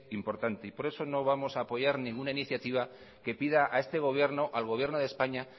importante y por eso no vamos a apoyar ninguna iniciativa que pida a este gobierno al gobierno de españa